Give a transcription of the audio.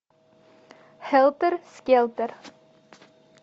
хелтер скелтер